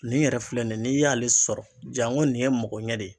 Nin yɛrɛ filɛ nin ye n'i y'ale sɔrɔ janko nin ye mɔgɔɲɛ de ye